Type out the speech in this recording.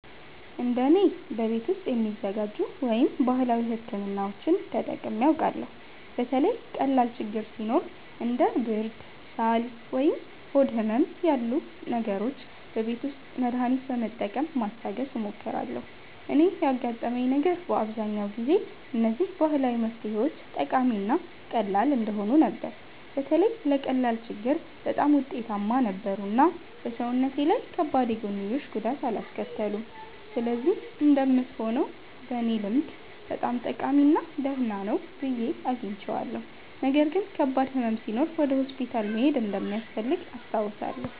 እንደ እኔ፣ በቤት ውስጥ የሚዘጋጁ ወይም ባህላዊ ሕክምናዎችን ተጠቅሜ አውቃለሁ። በተለይ ቀላል ችግኝ ሲኖር እንደ ብርድ፣ ሳል ወይም ሆድ ህመም ያሉ ነገሮች በቤት ውስጥ መድሃኒት በመጠቀም ማስታገስ እሞክራለሁ። እኔ ያጋጠመኝ ነገር በአብዛኛው ጊዜ እነዚህ ባህላዊ መፍትሄዎች ጠቃሚ እና ቀላል እንደሆኑ ነበር። በተለይ ለቀላል ችግኝ በጣም ውጤታማ ነበሩ እና በሰውነቴ ላይ ከባድ የጎንዮሽ ጉዳት አላስከተሉም። ስለዚህ እንደምትሆነው በእኔ ልምድ በጣም ጠቃሚ እና ደህና ነው ብዬ አግኝቼዋለሁ። ነገር ግን ከባድ ሕመም ሲኖር ወደ ሆስፒታል መሄድ እንደሚያስፈልግ አስታውሳለሁ።